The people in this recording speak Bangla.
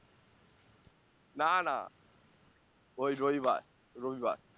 না না ওই রবিবার রবিবার